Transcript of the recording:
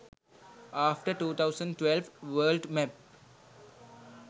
after 2012 world map